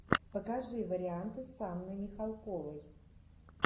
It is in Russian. покажи варианты с анной михалковой